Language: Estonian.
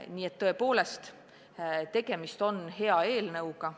Nii et tõepoolest, tegemist on hea eelnõuga.